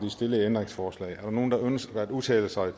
stillede ændringsforslag er der nogen der ønsker at udtale sig